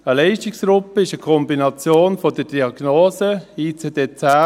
Eine Leistungsgruppe ist eine Kombination mit der Diagnose, ICD-10